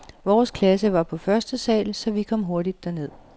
Vores klasse var på første sal, så vi kom hurtigt derned.